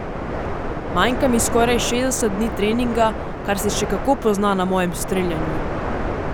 Manjka mi skoraj šestdeset dni treninga, kar se še kako pozna na mojem streljanju.